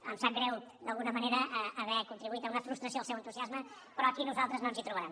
em sap greu d’alguna manera haver contribuït a una frustració del seu entusiasme però aquí a nosaltres no ens hi trobaran